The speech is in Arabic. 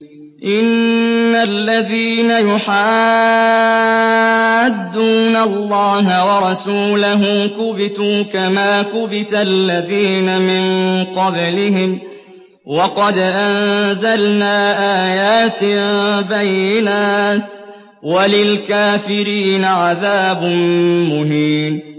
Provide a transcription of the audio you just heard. إِنَّ الَّذِينَ يُحَادُّونَ اللَّهَ وَرَسُولَهُ كُبِتُوا كَمَا كُبِتَ الَّذِينَ مِن قَبْلِهِمْ ۚ وَقَدْ أَنزَلْنَا آيَاتٍ بَيِّنَاتٍ ۚ وَلِلْكَافِرِينَ عَذَابٌ مُّهِينٌ